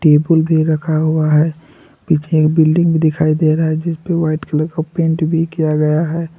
Table भी रखा हुआ है पीछे बिल्डिंग दिखाई दे रहा है जिसपे वाइट कलर का पेंट भी किया गया है।